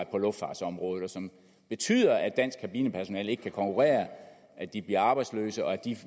på luftfartsområdet og som betyder at dansk kabinepersonale ikke kan konkurrere at de bliver arbejdsløse og at de